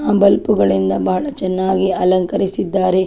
ಆ ಬಲ್ಪು ಗಳಿಂದ ಬಹಳ ಚೆನ್ನಾಗಿ ಅಲಂಕರಿಸಿದ್ದಾರೆ .